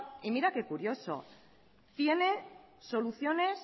y mira qué curioso tiene soluciones